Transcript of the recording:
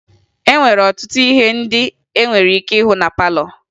E nwere ọtụtụ ihe ndị e nwere ike ịhụ na palọ